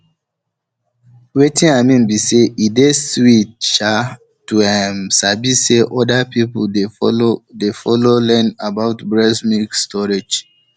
wetin i mean be say e dey sweet um to ehm sabi say other people dey follow dey follow learn about breast milk storage